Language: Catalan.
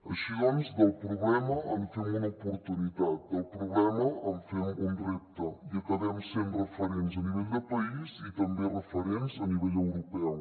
així doncs del problema en fem una oportunitat del problema en fem un repte i acabem sent referents a nivell de país i també referents a nivell europeu